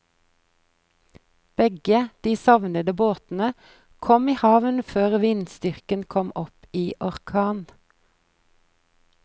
Begge de savnede båtene kom i havn før vindstyrken kom opp i orkan.